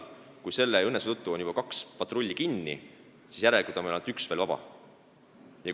Kui selle õnnetuse tõttu oli juba kaks patrulli kinni, siis järelikult oli ainult üks veel vaba.